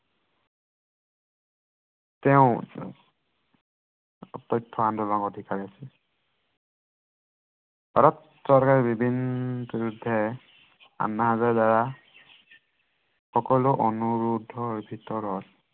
তেওঁ তথ্য় আন্দোলন অধিকাৰী ভাৰত চৰকাৰৰ বিভিন্ন বিৰুদ্ধে, আন্না হাজাৰেৰ দ্বাৰা অনুৰোধৰ ভিতৰত